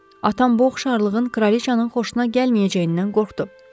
Atam bu oxşarlığın kraliçanın xoşuna gəlməyəcəyindən qorxdu.